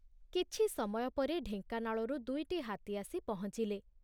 କିଛି ସମୟ ପରେ ଢେଙ୍କାନାଳରୁ ଦୁଇଟି ହାତୀ ଆସି ପହଞ୍ଚିଲେ।